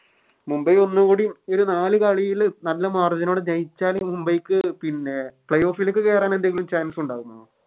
മുംബൈ ഒന്നും കൂടിയും ഒരു നാല് കളിയിലും നല്ല Margin നോടെ ജയിച്ചാല് മുംബൈക്ക് Play off ലേക്ക് കേരനെന്തെങ്കിലും Chance ഉണ്ടാകുമോ